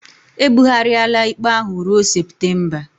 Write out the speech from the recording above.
E bughariala ikpe ahụ ruo Septemba